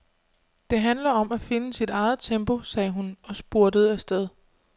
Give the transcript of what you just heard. Det handler om at finde sit eget tempo, sagde hun og spurtede afsted.